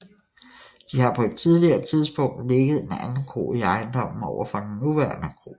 Der har på et tidligere tidspunkt ligget en anden kro i ejendommen over for den nuværende kro